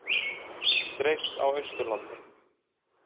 Mjólk dreift á Austurlandi